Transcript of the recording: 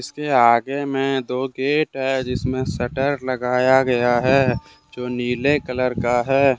इसके आगे में दो गेट है जिसमें सटर लगाया गया है जो नीले कलर का है ।